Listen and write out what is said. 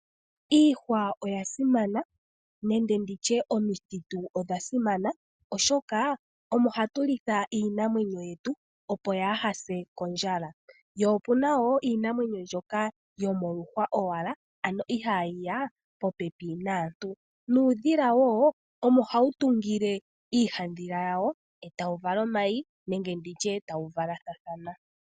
Iihwa oya simana, nenge nditye omithitu odha simana, oshoka omo ha tu litha iinamwenyo yetu opo yaa ha se kondjala. Yo opu na wo iinamwenyo ndyoka yomoluhwa owala ano ihaa yiya popepi naantu, nuudhila wo omo hawu tungile iihandhila yawo eta wu vala omayi nenge nditye tawu valathathana.